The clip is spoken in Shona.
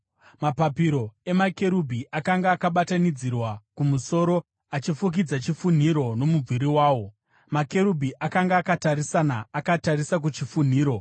Mapapiro amakerubhi akanga akatambanudzirwa kumusoro, achifukidza chifunhiro nomumvuri wawo. Makerubhi akanga akatarisana, akatarisa kuchifunhiro.